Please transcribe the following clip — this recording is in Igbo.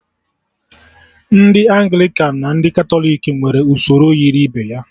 Ndị Anglịkan na ndị Katọlik nwere usoro yiri ibe ya